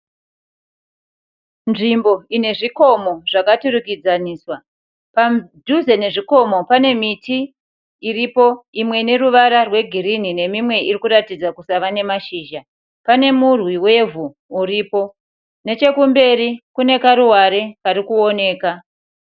Nzvimbo ine zvikomo zvakaturikidzaniswa, padhuze nezvikomo pane miti iripo imwe ine ruvara rwegirini nemimwe irikuratidza kusava nemashizha, pane murwi wevhu uripo, nechekumberi kune karuware karikuoneka.